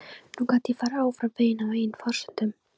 Nú gat ég farið áfram veginn á eigin forsendum.